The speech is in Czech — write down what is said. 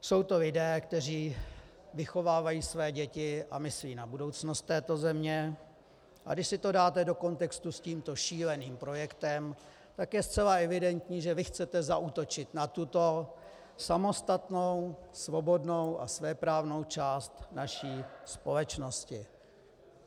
Jsou to lidé, kteří vychovávají své děti a myslí na budoucnost této země, a když si to dáte do kontextu s tímto šíleným projektem, tak je zcela evidentní, že vy chcete zaútočit na tuto samostatnou svobodnou a svéprávnou část naší společnosti.